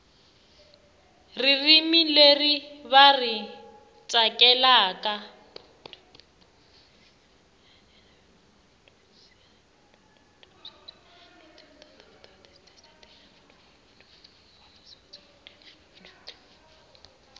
ririmi leri va ri tsakelaka